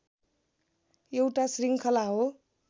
एउटा शृङ्खला हो